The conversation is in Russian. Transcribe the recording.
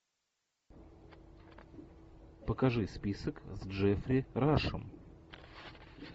покажи список с джеффри рашем